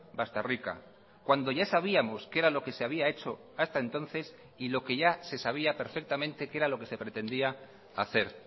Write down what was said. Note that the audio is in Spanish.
bastarrika cuando ya sabíamos que era lo que se había hecho hasta entonces y lo que ya se sabía perfectamente qué era lo que se pretendía hacer